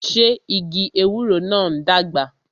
Ṣé igi ewúro náà ń dàgbà?